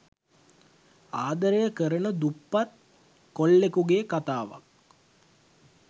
ආදරය කරන දුප්පත් කොල්ලෙකුගේ කතාවක්.